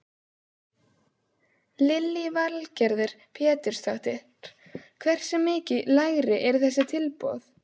Lillý Valgerður Pétursdóttir: Hversu mikið lægri eru þessi tilboð?